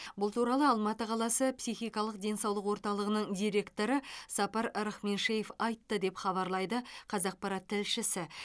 бұл туралы алматы қаласы психикалық денсаулық орталығының директоры сапар рахменшеев айтты деп хабарлайды қазақпарат тілшісі